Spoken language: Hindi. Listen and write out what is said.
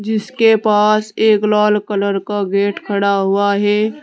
इसके पास एक लाल कलर का गेट खड़ा हुआ है।